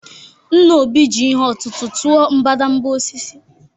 Nna Obi ji ihe ọ̀tụ̀tụ̀ tụọ mbadamba osisi